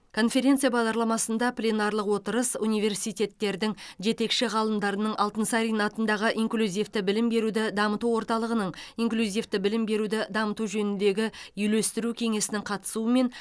конференция бағдарламасында пленарлық отырыс университеттердің жетекші ғалымдарының алтынсарин атындағы инклюзивті білім беруді дамыту орталығының инклюзивті білім беруді дамыту жөніндегі үйлестіру кеңесінің қатысуымен